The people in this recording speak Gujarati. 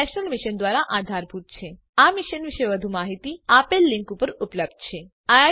આ મિશન પર વધુ માહીતી આપેલ લીંક પર ઉપલબ્ધ છે spoken hyphen tutorial dot org slash NMEICT hyphen intro